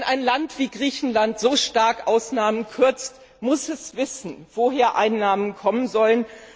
Wenn ein Land wie Griechenland so stark die Ausgaben kürzt, muss es wissen, woher die Einnahmen kommen sollen.